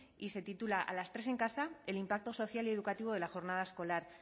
y se titula a las tres en casa el impacto social y educativo de la jornada escolar